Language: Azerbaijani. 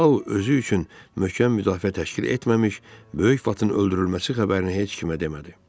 Tao özü üçün möhkəm müdafiə təşkil etməmiş böyük vatın öldürülməsi xəbərini heç kimə demədi.